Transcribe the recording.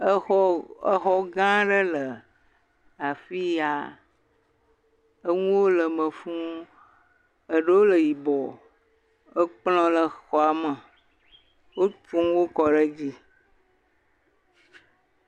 Exɔ gã aɖe le afiya, enuwo le eme fuu eɖewo le yibɔ, ekplɔ le xɔa me. Wofɔ nuwo kɔ ɖe edzi.